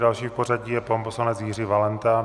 Další v pořadí je pan poslanec Jiří Valenta.